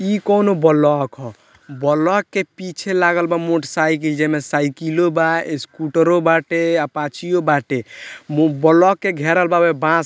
इ कोअनो ब्लॉक ह ब्लॉक के पीछे लागल बा मोटर साइकिल जे में साइकिललो बा स्कूटर बाटे अपाचीयो बाटे ब्लॉक के घेरल बा बांस --